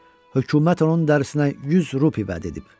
Hökumət onun dərisinə 100 rubl vəd edib.